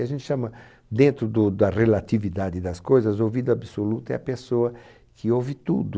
E a gente chama, dentro do da relatividade das coisas, ouvido absoluto é a pessoa que ouve tudo.